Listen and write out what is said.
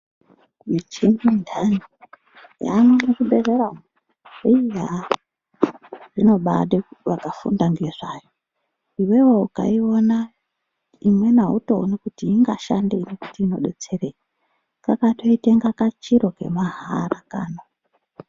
Michhini inthani yaamwo muzvibhedhlera umwo, iiih haa, zvinobaade vakafunda ngezvayo. Iwewe ukaiona, imweni autooni kuti ingashandei nekuti inodetserei? Kakatoita inga kachiro kemahala kano.